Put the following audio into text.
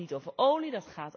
Die gaat niet over olie.